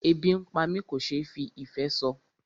Ebi ń pá mi kò ṣe fí ìfé sọ.